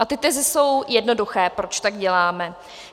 A ty teze jsou jednoduché, proč tak děláme.